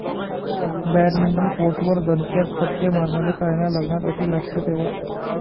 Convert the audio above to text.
badminton कोर्टवर दणक्यात फटके मारणारी सायना लग्नात अशी लाजते तेव्हा...